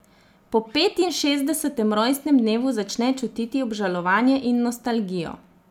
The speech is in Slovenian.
Po petinšestdesetem rojstnem dnevu začne čutiti obžalovanje in nostalgijo.